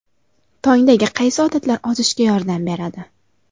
Tongdagi qaysi odatlar ozishga yordam beradi?.